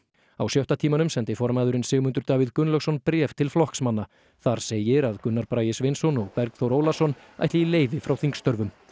á sjötta tímanum sendi formaðurinn Sigmundur Davíð Gunnlaugsson bréf til flokksmanna þar segir að Gunnar Bragi Sveinsson og Bergþór Ólason ætli í leyfi frá þingstörfum